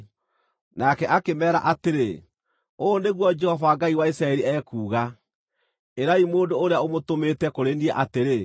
Nake akĩmeera atĩrĩ, “Ũũ nĩguo Jehova Ngai wa Isiraeli ekuuga: Ĩrai mũndũ ũrĩa ũmũtũmĩte kũrĩ niĩ atĩrĩ,